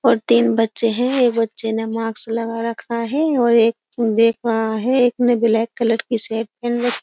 और तीन बच्चे हैं एक बच्चे ने मास्क्स लगा रखा है और एक देख रहा है एक ने ब्लैक कलर की शर्ट पहन रखी --